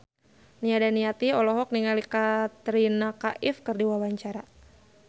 Nia Daniati olohok ningali Katrina Kaif keur diwawancara